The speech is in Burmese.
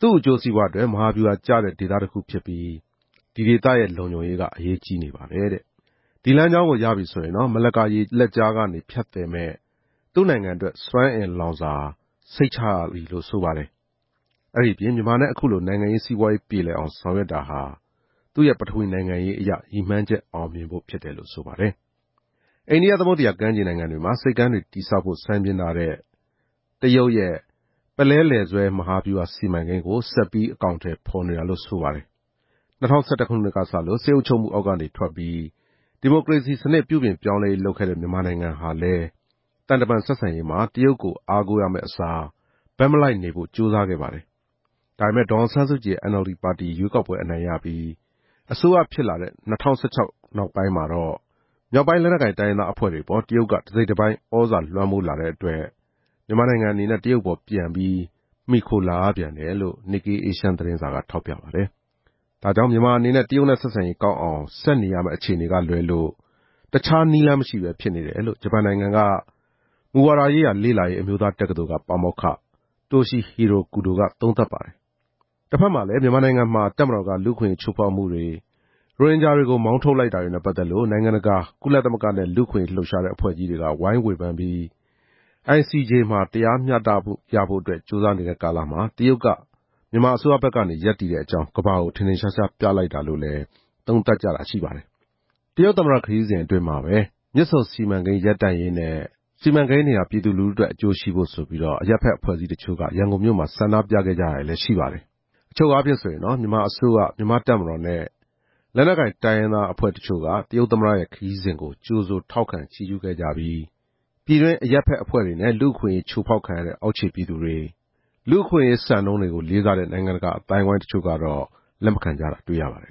သူ့အကျိုးစီးပွားအတွက် မဟာဗျူဟာကျတဲ့ ဒေသတခုဖြစ်ပြီး ဒီဒေသမှာ လုံခြုံရေးရှိဖို့က အရေးကြီးနေပါတယ်တဲ့။ ဒီလမ်းကြောင်းကိုရပြီဆိုရင် မလက္ကာရေလက်ကြားကနေဖြတ်သယ်မယ့် သူ့အတွက် စွမ်းအင်လောင်စာစိတ်ချရပြီလို့ ဆိုပါတယ်။ အဲဒီအပြင် မြန်မာနဲ့ အခုလိုနိုင်ငံရေး စီးပွားရေးပြေလည်အောင်ဆောင်ရွက်တာဟာ သူ့ရဲ့ ပထဝီ နိုင်ငံရေးရည်မှန်းချက်အောင်မြင်ဖို့ဖြစ်တယ်လို့ ဆိုပါတယ်။ အိန္ဒိယသမုဒ္ဒရာကမ်းခြေနိုင်ငံတွေမှာ ဆိပ်ကမ်းတွေတည်ဆောက်ဖို့ စိုင်းပြင်းထားတဲ့ တရုတ်ရဲ့ ပုလဲလည်ဆွဲမဟာဗျူဟာစီမံကိန်းကိုလည်း ဆက်ပြီးအကောင်အထည်ဖော်နေတာလို့ ဆိုပါတယ်။ ၂၀၁၁ ခုနှစ်ကစလို့ စစ်အုပ်ချုပ်မှုအောက်ကနေထွက်ပြီး ဒီမိုကရေစီစနစ်ပြုပြင်ပြောင်းလဲရေးလုပ်ခဲ့တဲ့ မြန်မာနိုင်ငံဟာလဲ သံတမန်ဆက်ဆံရေးမှာ တရုတ်ကိုအားကိုးရမယ့်အစား ဘက်မလိုက်နေဖို့ကြိုးစားခဲ့ပါတယ်။ ဒါပေမယ့် ဒေါ်အောင်ဆန်းစုကြည်ရဲ့ NLD ပါတီ ရွေးကောက်ပွဲအနိုင်ရပြီး အစိုးရဖြစ်လာတဲ့ ၂၀၁၆ ခုနှစ်နောက်ပိုင်းမှာတော့ မြောက်ပိုင်းလက်နက်ကိုင်တိုင်းရင်းသားအဖွဲ့တွေအပေါ် တရုတ်က တစိတ်တပိုင်းသြဇာလွှမ်းမိုးလာတဲ့အတွက် မြန်မာနိုင်ငံအနေနဲ့ တရုတ်အပေါ်ပြန်ပြီး မှီခိုလာရပြန်တယ်လို့ Nikkei Asian သတင်းစာက ထောက်ပြပါတယ်။ ဒါကြောင့် မြန်မာအနေနဲ့ တရုတ်နဲ့ ဆက်ဆံရေးကောင်းအောင် ဆက်နေရမယ့်အခြေအနေကလွဲလို့ တခြားနည်းလမ်းမရှိဘဲဖြစ်နေတယ်လို့ ဂျပန်နိုင်ငံက မူဝါဒရေးရာလေ့လာရေးအမျိုးသားတက္ကသိုလ်က ပါမောက္ခ တိုရှီဟီရို ကူဒိုက သုံးသပ်ပါတယ်။ တဖက်မှာလည်း မြန်မာနိုင်ငံမှာ တပ်မတော်က လူ့အခွင့်အရေးချိုးဖောက်မှုတွေ၊ ရိုဟင်ဂျာတွေကို မောင်းထုတ်လိုက်တာတွေနဲ့ပတ်သက်လို့ နိုင်ငံတကာ၊ ကုလသမဂ္ဂနဲ့ လူ့အခွင့်အရေးလှုပ်ရှားတဲ့ အဖွဲ့ကြီးတွေက ဝိုင်းဝေဖန်ပြီး ICJ မှာ တရားမျှတရေးအတွက် အရေးယူဖို့ကြိုးစားနေတဲ့ကာလမှာ တရုတ်က မြန်မာအစိုးရဘက်က ရပ်တည်တဲ့အကြောင်း ကမ္ဘာကို ထင်ထင်ရှားရှားပြလိုက်တာလို့ သုံးသပ်နေကြတာလဲရှိပါတယ်။ တရုတ်သမ္မတရောက်နေတဲ့ကာလမှာပဲ မြစ်ဆုံစီမံကိန်းအပြီးရပ်ပေးဖို့နဲ့ စီမံကိန်းတွေဟာ ပြည်သူအတွက်အကျိုးရှိဖို့ ရန်ကုန်မြို့မှာ တောင်းဆိုကြတာလညတွ့ရပါတယ်။ အချုပ်အားဖြင့်ဆိုရင် မြန်မာအစိုးရ၊ မြန်မာ့တပ်မတော်နဲ့ လက်နက်ကိုင်တိုင်းရင်းသားတချို့က တရုတ်သမ္မတရဲ့ခရီးစဉ်ကို ကြိုဆိုထောက်ခံချီးကျူးခဲ့ကြပြီး ပြည်တွင်းအရပ်ဘက်အဖွဲ့နဲ့ လူ့အခွင့်အရေးချိုးဖောက်ခံရတဲ့ အောက်ခြေပြည်သူတွေ၊ လူ့အခွင့်အရေးစံနှုန်းတွေကို လေးစားတဲ့ နိုင်ငံတကာ အသိုင်းအဝိုင်းတချို့က လက်မခံကြတာတွေ့ရပါတယ်